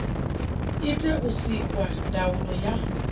itea u sikwa ndaulo ya